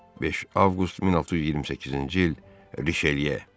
5 Avqust 1628-ci il Riçeliyə.